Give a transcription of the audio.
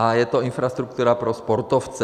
A je to infrastruktura pro sportovce.